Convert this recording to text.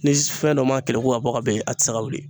Ni s fɛn dɔ ma keleku ka bɔ ka ben a ti se ka wuli.